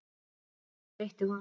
Þessu breytti hún.